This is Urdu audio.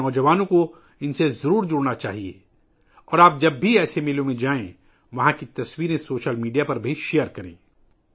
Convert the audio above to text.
ہمارے نوجوانوں کو ان سے ضرور جڑنا چاہیئے اور جب بھی آپ ایسے میلوں میں جائیں تو وہاں کی تصاویر سوشل میڈیا پر بھی شیئر کریں